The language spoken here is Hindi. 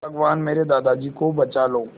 भगवान मेरे दादाजी को बचा लो